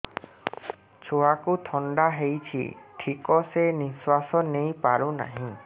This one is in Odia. ଛୁଆକୁ ଥଣ୍ଡା ହେଇଛି ଠିକ ସେ ନିଶ୍ୱାସ ନେଇ ପାରୁ ନାହିଁ